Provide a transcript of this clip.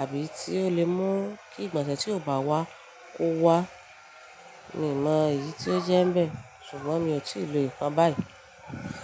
àbí tí ó lè mú kí ìgbọ̀nsẹ̀ tí ò bá wá kó wá. Mi mọ èyí tí ó jẹ́ ń bẹ̀, ṣùgbọ́n mi ò tí ì lo ìkan báyìí.